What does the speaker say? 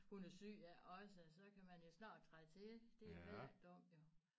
Hun er syg ja også så kan man jo snart træde til det er heller ikke dumt jo